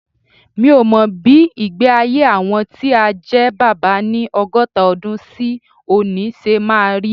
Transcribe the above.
Mi ò mọ bí ìgbé-ayé àwọn tí á jẹ́ bàbá ni ọgọ́ta ọdún sí òní ṣe máa rí.